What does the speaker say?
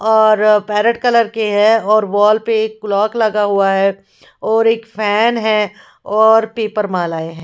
और parrot colour के है और वॉल पर एक क्लॉक लगा हुआ है और फैन है और एक पेपर माला है।